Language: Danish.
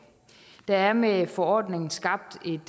der er med forordningen skabt et